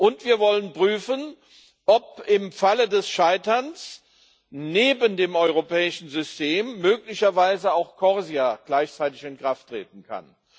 Und wir wollen prüfen, ob im Falle des Scheiterns neben dem europäischen System möglicherweise auch CORSIA gleichzeitig in Kraft treten kann.